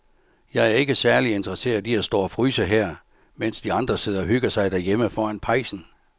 Jeg er ikke særlig interesseret i at stå og fryse her, mens de andre sidder og hygger sig derhjemme foran pejsen.